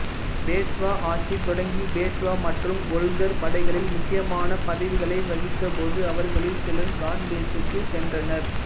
பேஷ்வா ஆட்சி தொடங்கி பேஷ்வா மற்றும் ஓல்கர் படைகளில் முக்கியமான பதவிகளை வகித்தபோது அவர்களில் சிலர் காந்தேஷுக்கு சென்றனர்